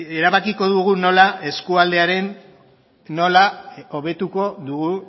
erabakiko dugu nola hobetuko dugu